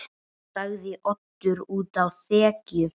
sagði Oddur úti á þekju.